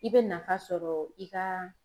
I bɛ nafa sɔrɔ i ka